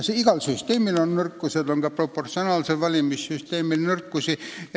Igal süsteemil on nõrkused ja on ka proportsionaalsel valimissüsteemil nõrkusi.